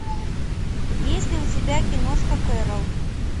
есть ли у тебя киношка кэрол